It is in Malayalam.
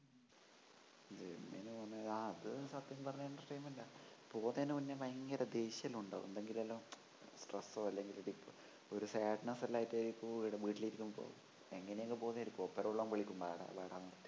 അതും സത്യം പറഞ്ഞാ ഒരു entertainment പോവുന്നെനു മുന്നേ ഭയങ്കര ദേഷ്യമെല്ലാമുണ്ടാവും എന്തെങ്കിലും stress ഓ അല്ലെങ്കില് ഒരു sadness എല്ലാമായിട്ട് വീട്ടിലിരിക്കുമ്പോ അങ്ങനെയങ്ങു പോവുന്നതായിരിക്കും കൂട്ടുകാരെല്ലാം വിളിക്കും വാടാ വാടാന്ന്